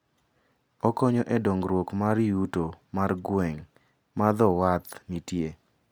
Okonyo e dongruok mar yuto mar gweng' ma dho wath nitie.